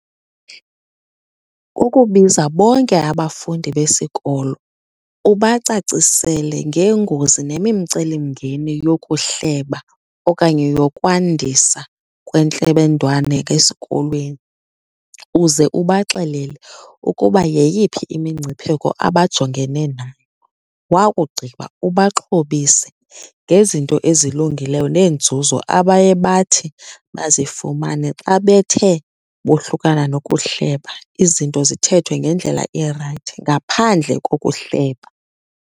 Kukubiza bonke abafundi besikolo ubacacisele ngengozi nemimcelimngeni yokuhleba okanye yokwandisa kwentlebendwane esikolweni, uze ubaxelele ukuba yeyiphi imingcipheko abajongene nayo. Wakugqiba ubaxhobise ngezinto ezilungileyo neenzuzo abaye bathi bazifumane xa bethe bohlukana nokuhleba, izinto zithethwe ngendlela erayithi ngaphandle kokuhleba.